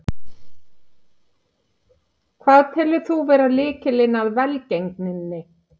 Hvað telur þú vera lykilinn að velgengninni?